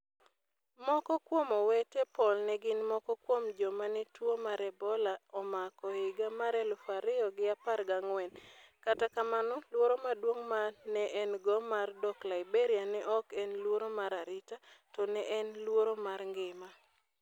Moko kuom owete Paul ne gin moko kuom joma ne tuwo mar Ebola omako e higa mar elufu ariyo gi apar gangwen', kata kamano luoro maduong' ma ne en-go mar dok Liberia ne ok en luoro mar arita, to ne en luoro mar ngima.